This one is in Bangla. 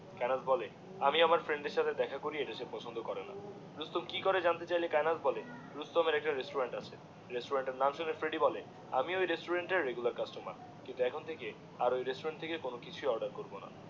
কায়েনাথ বলে আমি আমার ফ্রেন্ডের সাথে দেখা করি এটা সে পছন্দ করেনা। রুস্তম কিকরে জানতে চাইলে কায়েনাথ বলে রুস্তমের একটা রেস্টুরেন্ট আছে, রেস্টুরেন্টের তাঁর নাম শুনে ফ্রেডি বলে, আমি ওই রেস্টুরেন্টের রেগুলার কাস্টমার, কিন্তু এখন থেকে ওই রেস্টুরেন্ট থেকে কোনো কিছুই অর্ডার করবোনা